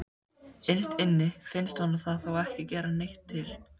Innst inni finnst honum það þó ekki gera neitt til.